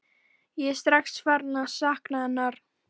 Ég er strax farinn að sakna hennar.